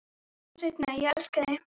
Sjáumst seinna, ég elska þig.